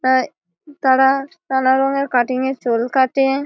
হ্যা তাঁরা নানা রঙের কাটিং এর চুল কাটে।